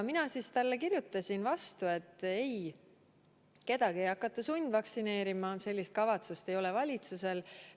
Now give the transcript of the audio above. Mina kirjutasin siis talle vastu, et ei, kedagi ei hakata sundvaktsineerima, sellist kavatsust valitsusel ei ole.